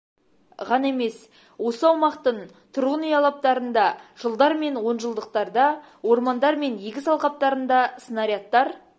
ғана емес осы аумақтың тұрғын үй алаптарында жылдар мен онжылдықтарда ормандар мен егіс алқаптарында снарядтар